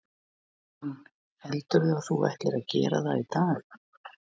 Hugrún: Heldurðu að þú ætlir að gera það í dag?